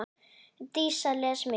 Dísa les mikið.